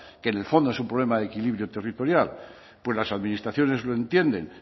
que en el fondo es un problema de equilibrio territorial pues las administraciones lo entienden